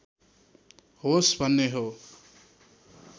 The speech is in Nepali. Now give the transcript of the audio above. होस् भन्ने हो